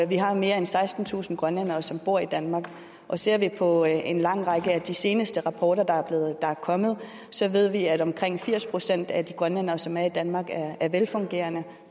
vi har mere end sekstentusind grønlændere som bor i danmark ser vi på en lang række af de seneste rapporter der er kommet så ved vi at omkring firs procent af de grønlændere som er i danmark er velfungerende